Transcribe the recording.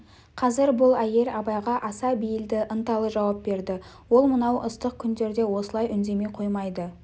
қазір бұл әйел абайға аса бейілді ынталы жауап берді ол мынау ыстық күндерде осылай үндемей қоймайды